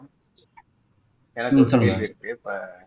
எனக்கு ஒரு கேள்வி இருக்கு இப்போ